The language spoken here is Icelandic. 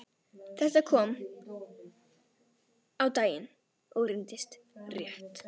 Þetta kom á daginn og reyndist rétt.